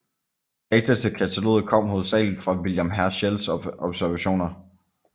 Data til kataloget kom hovedsagelig fra William Herschels observationer